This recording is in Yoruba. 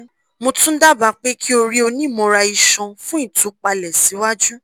mo tun daba pe ki o ri onimọra-iṣọn fun itupalẹ siwaju